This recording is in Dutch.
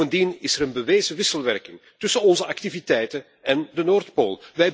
Bovendien is er een bewezen wisselwerking tussen onze activiteiten en de Noordpool.